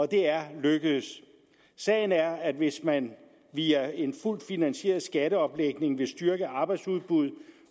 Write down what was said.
det er lykkedes sagen er at hvis man via en fuldt finansieret skatteomlægning vil styrke arbejdsudbuddet